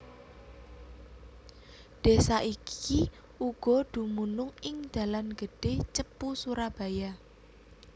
Desa iki uga dumunung ing dalan gedhé Cepu Surabaya